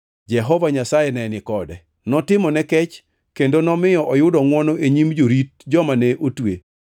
Jehova Nyasaye ne ni kode; notimone kech kendo nomiyo oyudo ngʼwono e nyim jorit joma ne otwe.